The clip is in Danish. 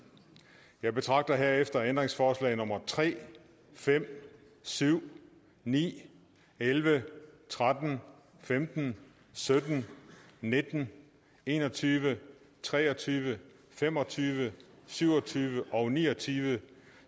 jeg betragter herefter ændringsforslag nummer tre fem syv ni elleve tretten femten sytten nitten en og tyve tre og tyve fem og tyve syv og tyve og ni og tyve